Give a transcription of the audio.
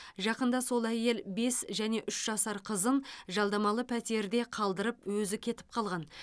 жақында сол әйел бес және үш жасар қызын жалдамалы пәтерде қалдырып өзі кетіп қалған